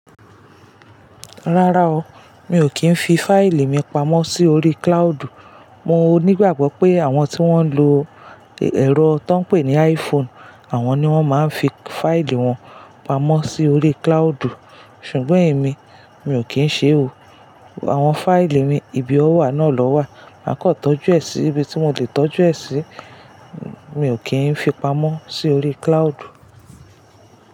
Rárá o, mi ò kí ń fi fáìlì mi pamọ́ sí orí cloud. Mo nígbàgbọ́ pé àwọn tí wón ń lo ẹ̀rọ tó ń pè ní iPhone, àwọn ni wón máa ń fi fáìlì wọn pamọ́ sí orí cloud. Ṣùgbọ́n èmi, mi ò kí ń ṣe ò. Àwọn fáìlì mi, ibi ọ wà náà lọ wà. Máa kọ̀ tọ́jú ẹ sí ibi tí mo lè tọ́jú ẹ sí, mi ò kí ń fi pamọ́ sí orí cloud.